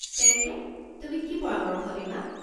তেন্তে, তুমি কি পৰামৰ্শ দিবা?